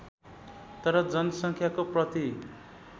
तर जनसङ्ख्याको प्रति